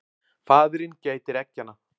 Faðirinn gætir eggjanna.